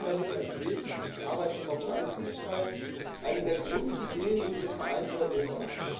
Wir regeln damit ganz wesentlich die Arbeitnehmerfreizügigkeit, eine der Grundideen unseres vereinten Europas.